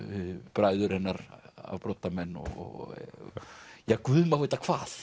bræður hennar afbrotamenn og ja Guð má vita hvað